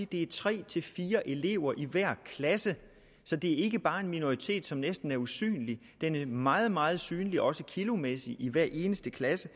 det er tre til fire elever i hver klasse så det er ikke bare en minoritet som er næsten usynlig den er meget meget synlig også kilomæssigt i hver eneste klasse